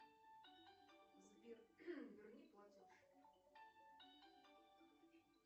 сбер верни платеж